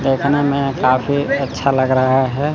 देखने में काफी अच्छा लग रहा है।